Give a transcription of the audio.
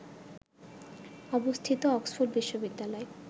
অবস্থিত অক্সফোর্ড বিশ্ববিদ্যালয়